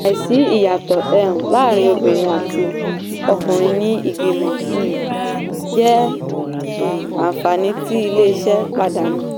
àìsí ìyàtọ̀ um láàárín obìnrin àti ọkùnrin ní ìgbìmọ̀ um jẹ́ àǹfààní um tí iléeṣẹ́ pàdánù.